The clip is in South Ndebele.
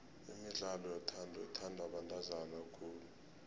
imidlalo yothando ithandwa bantazana khulu